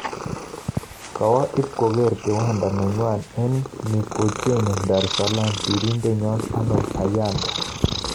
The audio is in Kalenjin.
Kowo ib kogeer kiwanda nenywa eng Mikocheni Dar es alaam sirindet nyo Arnold Kayanda